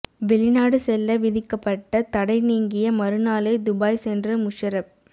வெளிநாடு செல்ல விதிக்கப்பட்ட தடை நீங்கிய மறுநாளே துபாய் சென்ற முஷரப்